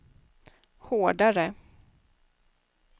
hårdare